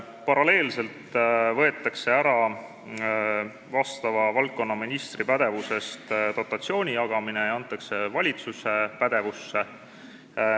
Paralleelselt võetakse valdkonnaministri pädevusest ära dotatsiooni jagamine ja antakse see valitsuse pädevusse.